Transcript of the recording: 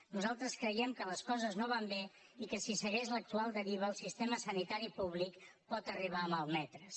nosaltres creiem que les coses no van bé i que si segueix l’actual deriva el sistema sanitari públic pot arribar a malmetre’s